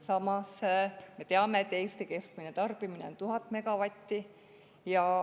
Samas me teame, et Eesti keskmine tarbimine 1000 megavatti.